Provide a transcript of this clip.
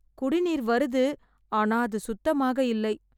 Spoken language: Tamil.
குடிநீர் வருது ஆனா அது சுத்தமாக இல்லை